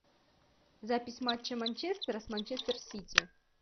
запись матча манчестера с манчестер сити